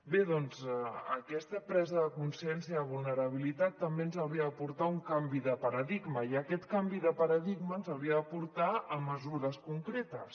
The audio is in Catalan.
bé doncs aquesta presa de consciència de vulnera·bilitat també ens hauria de portar a un canvi de paradigma i aquest canvi de para·digma ens hauria de portar a mesures concretes